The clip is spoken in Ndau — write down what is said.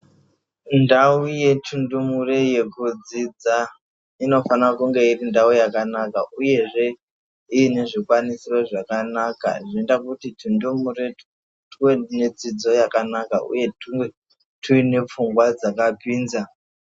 Ndau yechindumure yekudzidza inofana kunge iri ndau yakanaka uyezve ine zvikwanisiro zvakanaka zvinoita kuti tundumure tuwe nedzidzo yakanaka uye tuwe tuinepfungwa dzakapinza.